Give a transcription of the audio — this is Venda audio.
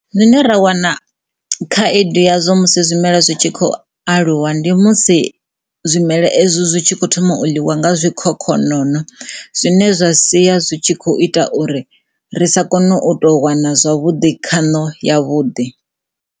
Zwine ra wana khaedu yayo musi zwimela zwi tshi kho aluwa ndi musi zwimela ezwo zwi tshi kho thoma u ḽiwa nga zwikhokhonono zwine zwa sia zwi tshi kho ita uri ri sa kone u to wana zwavhuḓi khano ya vhuḓi.